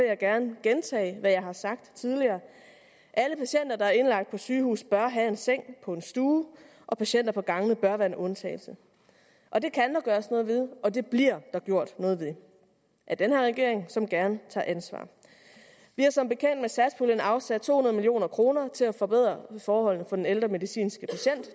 jeg gerne gentage hvad jeg har sagt tidligere alle patienter der er indlagt på et sygehus bør have en seng på en stue og patienter på gangene bør være en undtagelse og det kan der gøres noget ved og det bliver der gjort noget ved af den her regering som gerne tager ansvar vi har som bekendt med satspuljen afsat to hundrede million kroner til at forbedre forholdene for den ældre medicinske